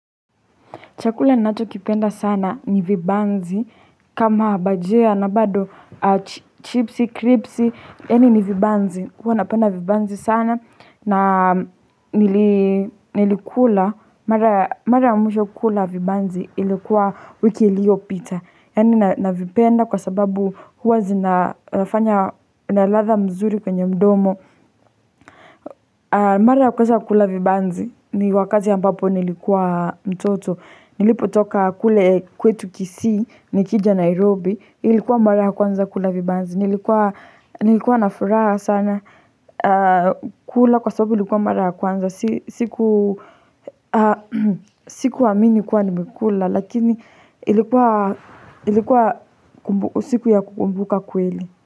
Chakula ninachokipenda sana ni vibanzi kama bajia na bado chipsi, kripsi any ni vibanzi. Huwa napenda vibanzi sana na nilikula mara ya mwisho kula vibanzi ilikuwa wiki iliyopita. Yaani navipenda kwa sababu huwa zinafanya na ladha mzuri kwenye mdomo Mara ya kwanza kukula vibanzi ni wakati ambapo nilikuwa mtoto. Nilipotoka kule kwetu Kisii nikija Nairobi, ilikuwa mara ya kwanza kula vibanzi Nilikuwa na furaha sana kula kwa sababu ilikuwa mara ya kwanza Sikuamini kuwa nimekula lakini ilikuwa usiku ya kukumbuka kweli.